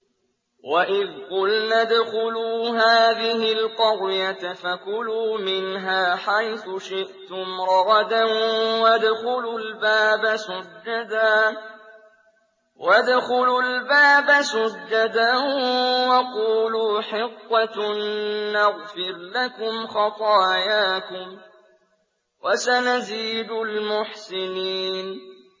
وَإِذْ قُلْنَا ادْخُلُوا هَٰذِهِ الْقَرْيَةَ فَكُلُوا مِنْهَا حَيْثُ شِئْتُمْ رَغَدًا وَادْخُلُوا الْبَابَ سُجَّدًا وَقُولُوا حِطَّةٌ نَّغْفِرْ لَكُمْ خَطَايَاكُمْ ۚ وَسَنَزِيدُ الْمُحْسِنِينَ